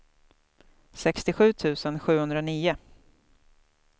sextiosju tusen sjuhundranio